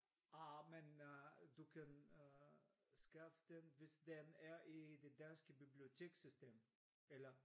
Ah men øh du kan øh skaffe den hvis den er i det danske bibliotekssystem eller?